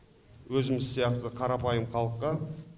өзіміз сияқты қарапайым халыққа